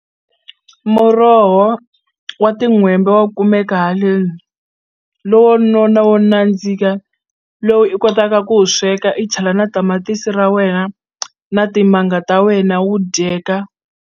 Muroho wa tin'hwembe wa kumeka haleni lowo nona wo nandzika lowu i kotaka ku wu sweka i chela na tamatisi ra wena na timanga ta wena wu dyeka.